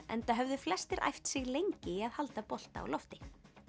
enda höfðu flestir æft sig lengi í að halda bolta á lofti